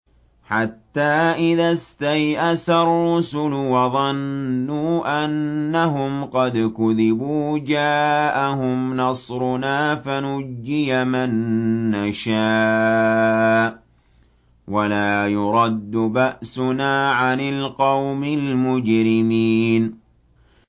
حَتَّىٰ إِذَا اسْتَيْأَسَ الرُّسُلُ وَظَنُّوا أَنَّهُمْ قَدْ كُذِبُوا جَاءَهُمْ نَصْرُنَا فَنُجِّيَ مَن نَّشَاءُ ۖ وَلَا يُرَدُّ بَأْسُنَا عَنِ الْقَوْمِ الْمُجْرِمِينَ